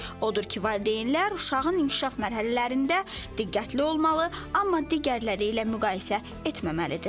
Odur ki, valideynlər uşağın inkişaf mərhələlərində diqqətli olmalı, amma digərləri ilə müqayisə etməməlidir.